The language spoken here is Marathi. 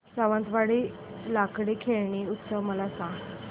सावंतवाडी लाकडी खेळणी उत्सव मला सांग